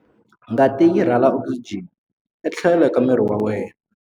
Ngati yi rhwala okisijeni etlhelo ka miri wa wena.